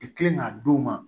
I kelen ka d'u ma